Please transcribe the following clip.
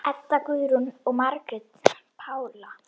Edda Guðrún og Margrét Pála.